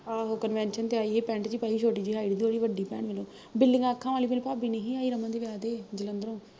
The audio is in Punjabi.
ਆਹੋ convention ਤੇ ਆਈ ਸੀ, ਪੈਂਟ ਜਹੀ ਪਈ ਸੀ, ਛੋਟੀ ਜਹੀ height ਸੀ ਉਹਦੀ ਵੱਡੀ ਭੈਣ ਮੈਨੂੰ, ਬਿੱਲੀਆਂ ਅੱਖਾਂ ਆਲੀ ਮੇਰੀ ਭਾਬੀ ਨੀ ਸੀ ਆਈ ਰਮਨ ਦੇ ਵਿਆਹ ਤੇ ਜਲੰਧਰੋਂ